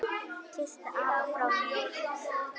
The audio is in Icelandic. Kysstu afa frá mér.